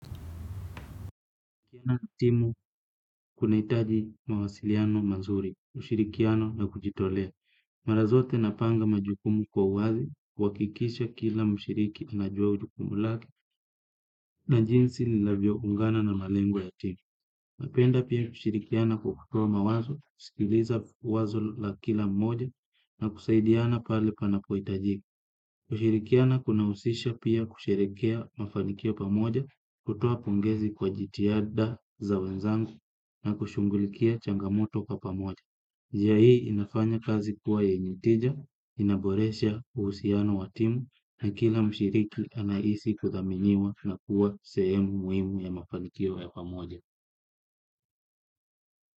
Kila timu kunahitaji mawasiliano mazuri, ushirikiano na kujitolea. Mara zote napanga majukumu kwa wazi, huhakikisha kila mshiriki anajua jukumu lake, na jinsi ninavyoungana na malengo ya timu. Napenda pia kushirikiana kwa kutoa mawazo, kusikiliza wazo la kila mmoja, na kusaidiana pale panapohitajika. Kushirikiana kunahusisha pia kusherekea mafanikio pamoja kutoa pongezi kwa jitihada za wenzangu na kushughulikia changamoto kwa pamoja. Njia hii inafanya kazi kuwa yenye tija, inaboresha uhusiano wa timu na kila mshiriki anahisi kuthaminiwa na kuwa sehemu muhimu ya mafanikio ya pamoja.